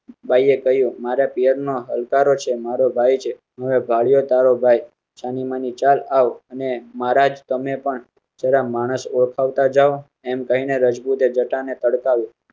બાયે કહયું મારા પિયરનો હલકારો છે. મારો ભાઈ છે. હવે ભાળ્યો તારો ભાઈ છાનીમાની ચાલી આવ અને મા રાજ તમે પણ જરા માણસ ઓળખતા જાવ એમ કહી ને રજપૂતે જટા ને તડકા